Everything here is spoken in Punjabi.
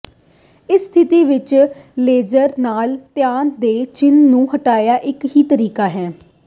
ਇਸ ਸਥਿਤੀ ਵਿੱਚ ਲੇਜ਼ਰ ਨਾਲ ਤਣਾਅ ਦੇ ਚਿੰਨ੍ਹ ਨੂੰ ਹਟਾਉਣਾ ਇੱਕ ਹੀ ਤਰੀਕਾ ਹੈ